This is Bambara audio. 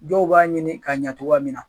Dɔw b'a ɲini ka ɲɛ togoya min na.